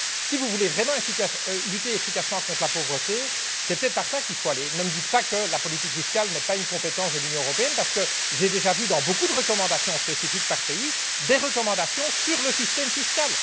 Si vous voulez vraiment lutter efficacement contre la pauvreté, c'est peut être cette orientation qu'il faut prendre. Ne me dites pas que la politique fiscale n'est pas une compétence de l'Union européenne, parce que j'ai déjà vu dans beaucoup de recommandations spécifiques par pays des recommandations sur le système fiscal.